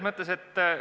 Aitäh!